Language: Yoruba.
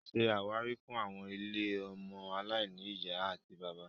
Ṣé àwárí fún àwọn ilé ọmọ aláìní ìyá àti bàbá